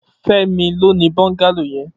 Femi ló ni bọngàló yèn